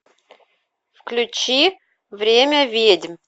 включи время ведьм